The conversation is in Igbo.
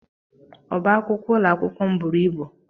Ọbá akwụkwọ ụlọakwụkwọ m bụrụ ịbụ.